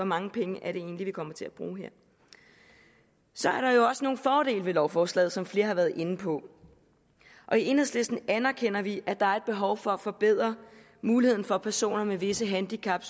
mange penge det egentlig er vi kommer til at bruge her så er der jo også nogle fordele ved lovforslaget som flere har været inde på og i enhedslisten anerkender vi at der er et behov for at forbedre muligheden for at personer med visse handicap